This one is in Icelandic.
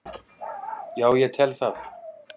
Já ég tel það.